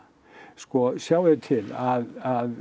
sko sjáiði til að